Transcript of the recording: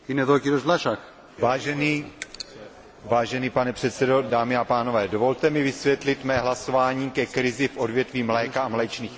Vážený pane předsedo, dámy a pánové, dovolte mi vysvětlit mé hlasování ke krizi v odvětví mléka a mléčných výrobků, ve kterém jsem se zdržel hlasování.